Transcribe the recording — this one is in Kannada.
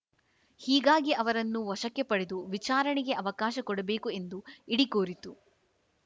ಹೀಗಾಗಿ ಅವರನ್ನು ವಶಕ್ಕೆ ಪಡೆದು ವಿಚಾರಣೆಗೆ ಅವಕಾಶ ಕೊಡಬೇಕು ಎಂದು ಇಡಿ ಕೋರಿತು